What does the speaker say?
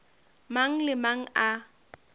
mang le a mang a